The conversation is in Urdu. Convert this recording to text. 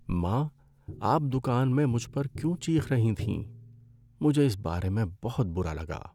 ماں! آپ دکان میں مجھ پر کیوں چیخ رہی تھیں، مجھے اس بارے میں بہت برا لگا۔